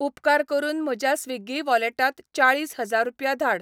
उपकार करून म्हज्या स्विग्गी वॉलेटांत चाळीस हजार रुपया धाड.